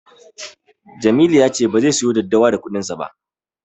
Jamilu ya ce bazai siyo daddawa da kuɗinsa ba.